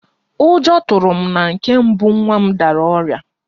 Ụjọ tụrụ m na nke mbụ nwa m dara ọrịa